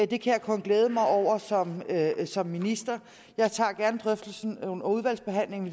det kan jeg kun glæde mig over som som minister jeg tager gerne drøftelsen under udvalgsbehandlingen